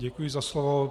Děkuji za slovo.